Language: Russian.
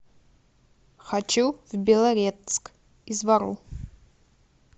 хочу в белорецк из вару